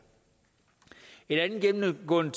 et andet gennemgående